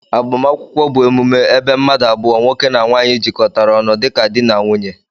Agbamakwụkwọ bu emume ebee mmadu abụọ( nwoke na nwanyi)jikọtara onụ dika di n'nwunye